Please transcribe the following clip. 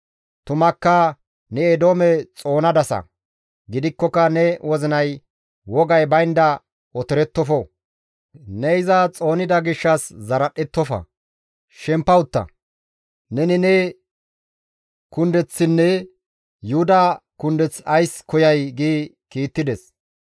Tumakka ne Eedoome xoonadasa; gidikkoka ne wozinay wogay baynda otorettofo; ne iza xoonida gishshas zaradhettofa; shempa utta! Neni ne kundeththinne Yuhuda kundeth ays koyay?» gi kiittides.